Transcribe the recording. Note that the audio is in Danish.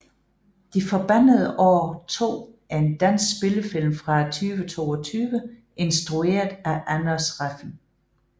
De forbandede år 2 er en dansk spillefilm fra 2022 instrueret af Anders Refn